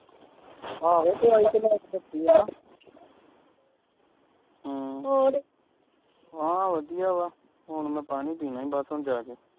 ਆਹੋ ਦਵਾਈ ਤੇ ਲੈ ਆਦੀ ਆ ਹਮ ਹਾਂ ਵਧੀਆ ਵਾਂ ਹੁਣ ਮੈਂ ਪਾਣੀ ਪੀਣਾ ਈ ਬਸ ਜਾ ਕੇ